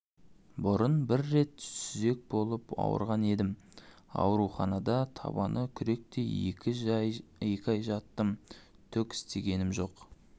бұрын бір рет сүзек болып ауырған едім ауруханада табаны күректей екі ай жаттым түк істегенім жоқ